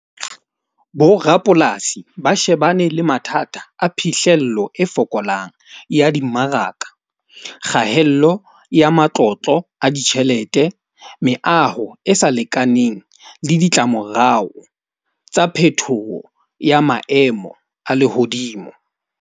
Bo rapolasi ba shebane le mathata a phihlello e fokolang, ya dimmaraka, kgahello ya matlotlo a ditjhelete, meaho e sa lekaneng le ditlamorao tsa phetoho ya maemo a lehodimo.